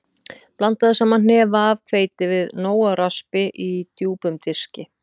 Blandaðu saman hnefa af hveiti við nóg af raspi í djúpum diski.